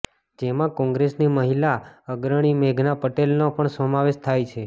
જેમાં કોંગ્રસની મહિલા અગ્રણી મેઘના પટેલનો પણ સમાવેશ થાય છે